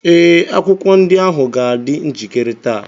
ee, akwụkwọ ndị ahụ ga-adị njikere taa.